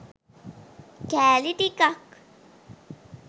කෑලි ටිකක්